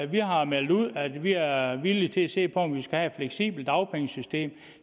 vi har meldt ud at vi er er villige til at se på om man skal have et fleksibelt dagpengesystem